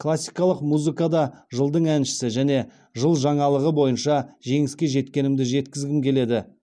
классикалық музыкада жылдың әншісі және жыл жаңалығы бойынша жеңіске жеткенімді жеткізгім келеді